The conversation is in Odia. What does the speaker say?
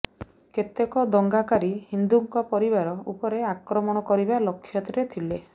କେତେକ ଦଙ୍ଗାକାରୀ ହିନ୍ଦୁଙ୍କ ପରିବାର ଉପରେ ଆକ୍ରମଣ କରିବା ଲକ୍ଷ୍ୟରେ ଥିଲେ